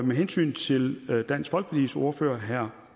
med hensyn til dansk folkepartis ordfører herre